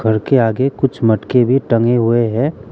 घर के आगे कुछ मटके भी टंगे हुए हैं।